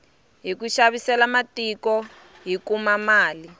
hiku xavisela matiko hi kuma mali